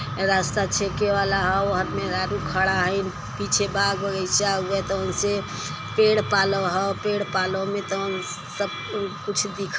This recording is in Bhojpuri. ये रास्ता छेके वाला है ओहार मेहरारू खड़ा हईन पीछे बाग बगैचा हउए त उनसे पेड़ पलाव ह पेड़ पालव में तउन सब कुछ दिखे --